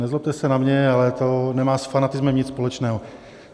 Nezlobte se na mě, ale to nemá s fanatismem nic společného.